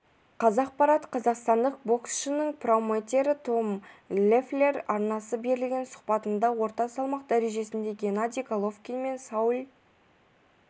қазақпарат қазақстандық боксшының промоутері том леффлер арнасына берген сұхбатында орта салмақ дәрежесіндегі геннадий головкин мен сауль